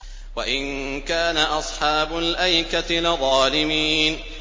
وَإِن كَانَ أَصْحَابُ الْأَيْكَةِ لَظَالِمِينَ